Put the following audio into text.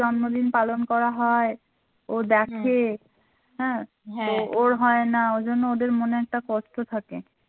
জন্মদিন পালন করা হয় ও দেখে হ্যাঁ ওর হয় না ওই জন্য ওদের মনে একটা কষ্ট থাকে